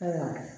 Ayiwa